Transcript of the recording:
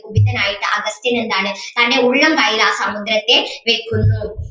കുപിതനായിട്ട് അഗസ്ത്യൻ എന്താണ് തൻ്റെ ഉള്ളംകൈയിൽ ആ സമുദ്രത്തെ വെക്കുന്നു